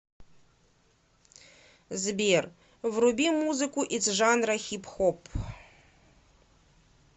сбер вруби музыку из жанра хип хоп